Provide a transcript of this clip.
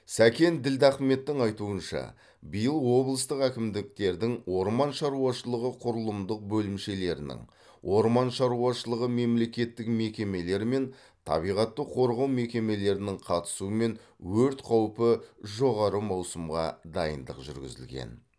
сәкен ділдахметтің айтуынша биыл облыстық әкімдіктердің орман шаруашылығы құрылымдық бөлімшелерінің орман шаруашылығы мемлекеттік мекемелері мен табиғатты қорғау мекемелерінің қатысуымен өрт қаупі жоғары маусымға дайындық жүргізілген